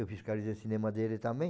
fiscalizei cinema dele também.